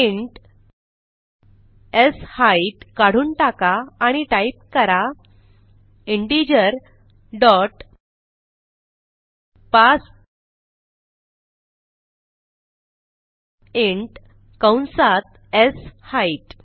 int शेट काढून टाका आणि टाईप करा इंटिजर डॉट पार्सिंट कंसात शेट